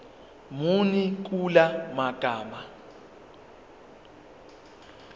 muni kula magama